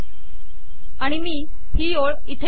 आणि मी ही ओळ इथे लिहिते